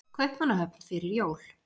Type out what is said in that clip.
Kaupmannahöfn fyrir jól?